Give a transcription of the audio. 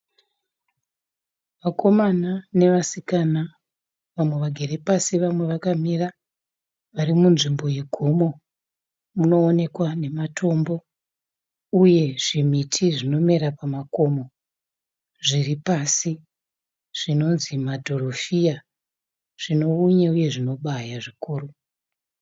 Vakomana nevasikana. Vamwe vagere pasi vamwe vakamira. Vari munzvimbo yegomo munoonekwa nematombo uye zvimiti zvinomera pamakomo zviripasi zvinonzi zvima dhorofiya zvineunye uye zvinobaya zvikuru.